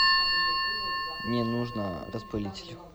мне нужно распылитель